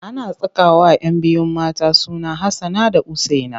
Ana sakawa 'yan biyu mata suna Hassana da Usaina.